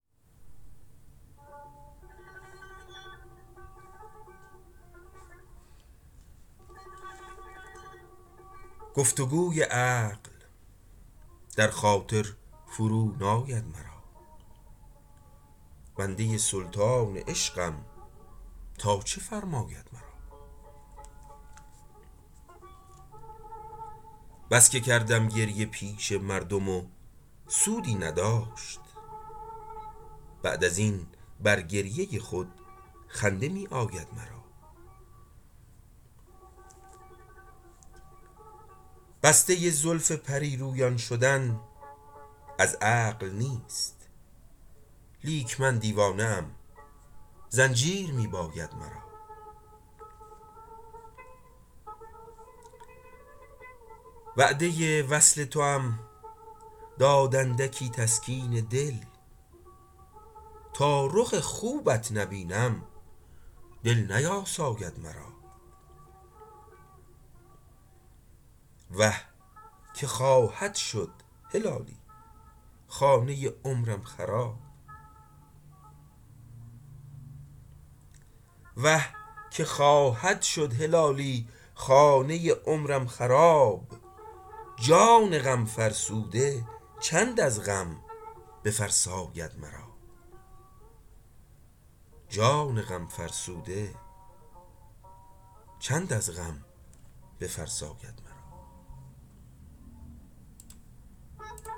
گفتگوی عقل در خاطر فرو ناید مرا بنده سلطان عشقم تا چه فرماید مرا بسکه کردم گریه پیش مردم و سودی نداشت بعد ازین بر گریه خود خنده میآید مرا بسته زلف پریرویان شدن از عقل نیست لیک من دیوانه ام زنجیر میباید مرا وعده وصل توام داد اندکی تسکین دل تا رخ خوبت نبینم دل نیاساید مرا وه که خواهد شد هلالی خانه عمرم خراب جان غم فرسوده چند از غم بفرساید مرا